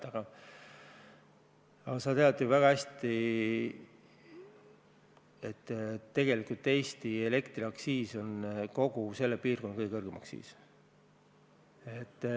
Aga sa tead ju väga hästi, et Eesti elektriaktsiis on tegelikult kogu selles piirkonnas kõige kõrgem.